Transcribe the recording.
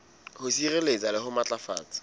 ho sireletsa le ho matlafatsa